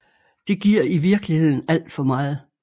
Det giver i virkeligheden alt for meget